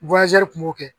kun b'o kɛ